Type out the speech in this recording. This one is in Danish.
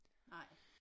Nej